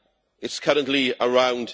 It is currently around